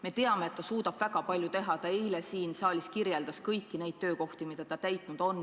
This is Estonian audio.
Me teame, et ta suudab väga palju teha, ta eile siin saalis kirjeldas kõiki neid töökohti, mida ta täitnud on.